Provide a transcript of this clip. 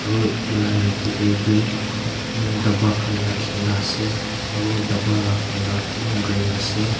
aru etu laga nichey tae vi daba khan rakhina ase aru daba laga colour toh green ase.